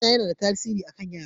Suna yana da tasiri a kan yara.